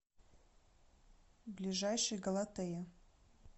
ближайший галатея